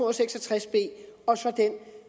og seks og tres b og så den